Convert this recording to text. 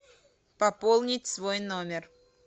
пополнить свой номер